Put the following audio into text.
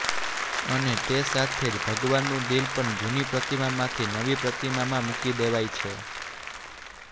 અને તે સાથે જ ભગવાનનું દિલ પણ જૂની પ્રતિમામાંથી નવી પ્રતિમામાં મૂકી દેવાય છે